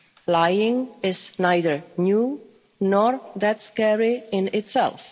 of Europe. Lying is neither new nor that scary